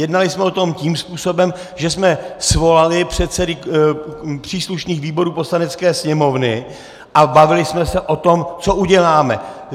Jednali jsme o tom tím způsobem, že jsme svolali předsedy příslušných výborů Poslanecké sněmovny a bavili jsme se o tom, co uděláme.